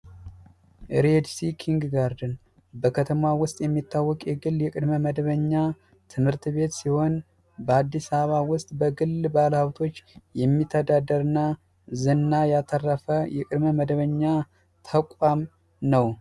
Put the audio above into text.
ሬድሲ ኪንግጋርተን በከተማ ውስጥ የሚታወቅ የግል የቅድመ መደበኛ ትምህርት ቤት ሲሆን በአዲስ አበባ ውስጥ በግል ባለሀብቶች የሚተዳደርና ዝና ያተረፈ የቅድመ መደበኛ ተቋም ነው።